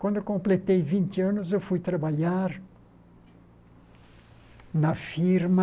Quando eu completei vinte anos, eu fui trabalhar na firma